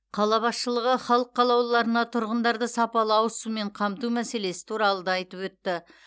қала басшылығы халық қалаулыларына тұрғындарды сапалы ауызсумен қамту мәселелесі туралы да айтып өтті